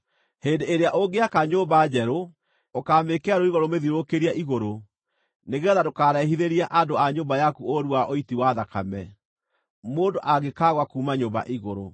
Hĩndĩ ĩrĩa ũngĩaka nyũmba njerũ, ũkaamĩĩkĩra rũirigo rũmĩthiũrũrũkĩirie igũrũ nĩgeetha ndũkarehithĩrie andũ a nyũmba yaku ũũru wa ũiti wa thakame, mũndũ angĩkaagũa kuuma nyũmba igũrũ.